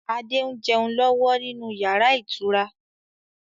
Adé ń jẹun lọ́wọ́ nínú yàrá ìtura.